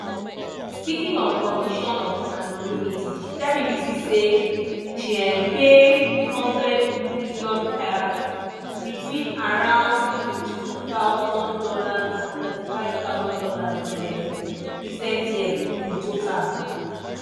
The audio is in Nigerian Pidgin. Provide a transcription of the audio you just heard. speaking on condition of anonymity she tell bbc say she um pay 100m kyats (between around $22000 and $35000 in um recent years) in total.